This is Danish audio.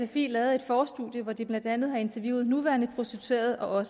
sfi lavet et forstudie hvor de blandt andet har interviewet nuværende prostituerede og